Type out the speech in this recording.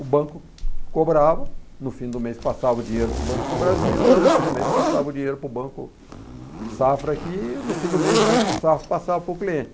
O banco cobrava, no fim do mês passava o dinheiro para o Banco do Brasil, eu no fim do mês passava o dinheiro para o Banco Safra, que no fim do mês o Banco do Safra passava para o cliente.